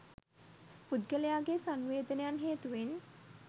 පුද්ගලයාගේ සංවේදනයන් හේතුවෙන්